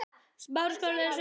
Fyrir Ísland!